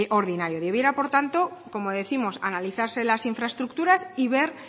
ordinario debiera por tanto como décimos analizarse las infraestructuras y ver